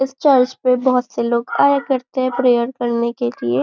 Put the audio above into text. इस चर्च पे बहुत से लोग आया करते हैं प्रेयर करने के लिए।